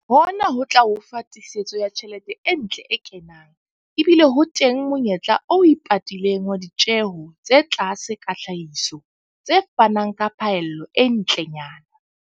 Hona hot la o fa tiisetso ya tjhelete e ntle e kenang, ebile ho teng monyetla o ipatileng wa ditjeho tse tlase tsa tlhahiso, tse fanang ka phaello e ntlenyana.